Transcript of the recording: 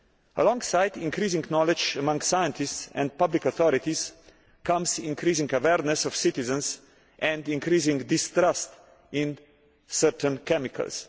Alongside increasing knowledge among scientists and public authorities comes the increasing awareness of citizens and increasing distrust in certain chemicals.